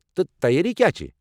تہٕ تیٲرِی کیٚا چھِ؟